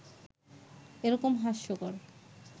এ রকম হাস্যকর